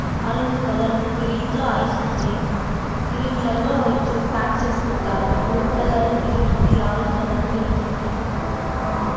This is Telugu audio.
ఆరెంజ్ కలర్ కిరీట్లో ఐస్ ఉంది కిరీట్లలో ప్యాక్ చేసి పెట్టారు బ్లూ కలర్ కిరిట్ ఉంది ఆరెంజ్ కలర్ కిరీట్ ఉంది ఆ--